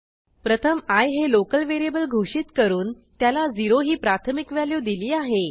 प्रथम आय हे लोकल व्हेरिएबल घोषित करून त्याला 0 ही प्राथमिक व्हॅल्यू दिली आहे